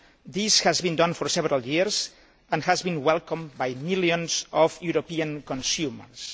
This has been done for several years and has been welcomed by millions of European consumers.